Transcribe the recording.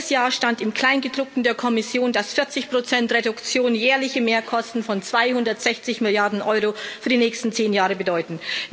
Letztes Jahr stand im Kleingedruckten der Kommission, dass 40 Reduktion jährliche Mehrkosten von 260 Milliarden Euro für die nächsten zehn Jahre bedeuten.